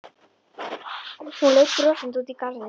Hún leit brosandi út í garðinn.